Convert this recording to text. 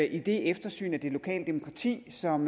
eftersyn af det lokale demokrati som